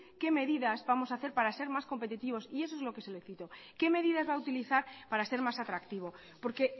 qué medidas vamos hacer para ser más competitivos y eso es lo que le pido qué medidas va utilizar para ser más atractivo porque